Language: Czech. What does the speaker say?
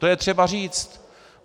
To je třeba říci.